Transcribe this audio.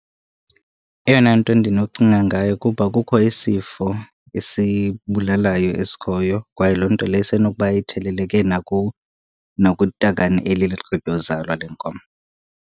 Eyona nto ndinocinga ngayo kuba kukho isifo esibulalayo esikhoyo kwaye loo nto leyo isenokuba itheleleke nakutakane eli ligqityozalwa lenkomo.